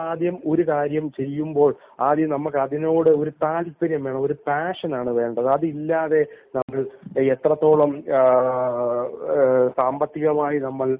നമ്മൾ ഒരു കാര്യം ചെയ്യുമ്പോൾ നമ്മക്ക് അതിനോട് ഒരു താല്പര്യം വേണം. പാഷൻ ആണ് വേണ്ടത് അതില്ലാതെ എത്രത്തോളം സാമ്പത്തികമായി